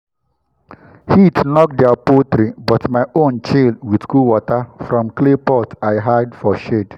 heat knock their their poultry but my own chill with cool water from clay pot i hide for shade.